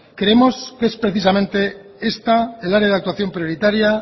creemos que es precisamente esta el área de actuación prioritaria